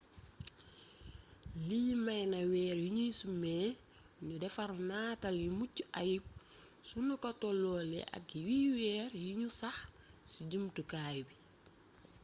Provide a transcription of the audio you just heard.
lii may na weer yi nuy sumee nu defar nataal yu mucc ayub sunu ko tolloolee ak yi weer yi nu sax ci jumtukaay bi